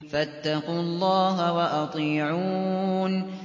فَاتَّقُوا اللَّهَ وَأَطِيعُونِ